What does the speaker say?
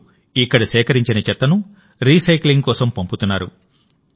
ఇప్పుడు ఇక్కడ సేకరించిన చెత్తను రీసైక్లింగ్ కోసం పంపుతున్నారు